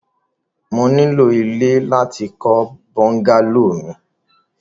Mo ní ilọ̀ ilẹ̀ láti kọ̀ bùngàlọ̀ mi.